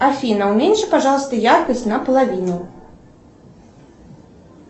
афина уменьши пожалуйста яркость наполовину